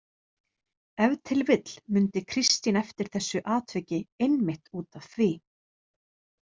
Ef til vill mundi Kristín eftir þessu atviki einmitt út af því.